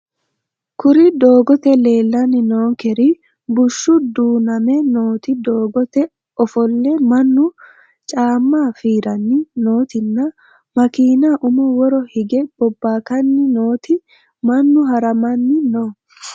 Kuri doogote lelani noonkeri bushshu duuname nooti doogote ofolle mannu caama fiirani nootina makiina umo woro igge bobakani nooti mannu haramani no